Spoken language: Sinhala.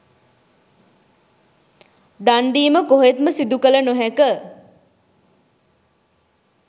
දන් දීම කොහෙත්ම සිදු කළ නොහැක.